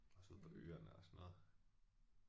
Også ude på øerne og sådan noget